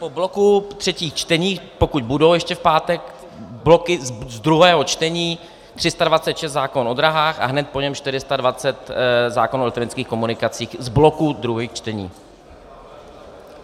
Po bloku třetích čtení, pokud budou ještě v pátek, bloky z druhého čtení - 326, zákon o dráhách, a hned po něm 420, zákon o elektronických komunikacích z bloku druhých čtení.